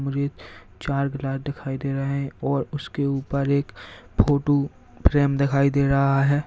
चार गिलास दिखाई दे रहा है और उसके एक फोटो फ्रेम दिखाई दे रहा है।